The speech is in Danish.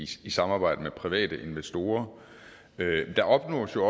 samarbejde med private investorer der opnås jo